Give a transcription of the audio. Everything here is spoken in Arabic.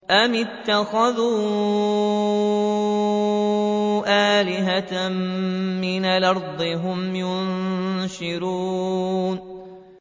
أَمِ اتَّخَذُوا آلِهَةً مِّنَ الْأَرْضِ هُمْ يُنشِرُونَ